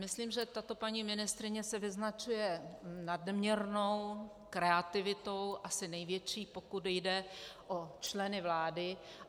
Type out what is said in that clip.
Myslím, že tato paní ministryně se vyznačuje nadměrnou kreativitou, asi největší, pokud jde o členy vlády.